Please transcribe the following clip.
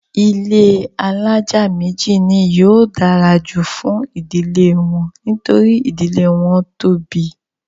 ilé alájà méjì ni yóò dára jù fún ìdílé wọn nítorí ìdílé wọn tóbi.